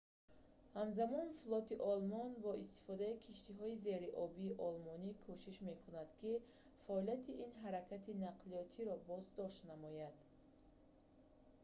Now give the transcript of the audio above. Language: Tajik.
ҳамзамон флоти олмон бо истифодаи киштиҳои зериобии олмонӣ кӯшиш мекард ки фаъолияти ин ҳаракати нақлиётро боздошт намояд